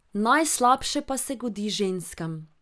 Najslabše pa se godi ženskam.